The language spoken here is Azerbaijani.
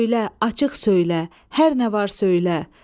Söylə, açıq söylə, hər nə var söylə.